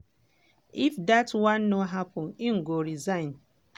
if dat one no happun im go resign.